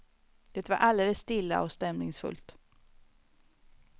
Det var alldeles stilla och stämningsfullt.